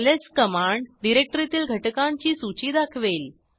LS command डिरेक्टरीतील घटकांची सूची दाखवेल